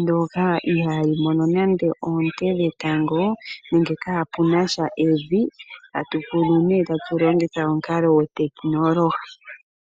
ndyoka ihaayi mono nande oonte dhetango. Nenge kaapunasha evi, atu kunu nee tatu longitha omukalo go tekinolohi.